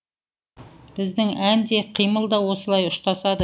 біздің ән де қимыл да осылай ұштасады